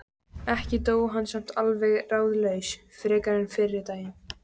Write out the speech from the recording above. Ekki dó hann samt alveg ráðalaus frekar en fyrri daginn.